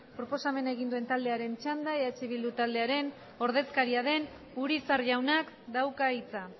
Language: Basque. proposamen egin duen taldearen txanda eh bildu taldearen ordezkaria den urizar jaunak dauka hitza